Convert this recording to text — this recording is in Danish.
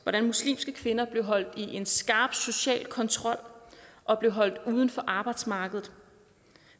hvordan muslimske kvinder blev holdt i en skarp social kontrol og blev holdt uden for arbejdsmarkedet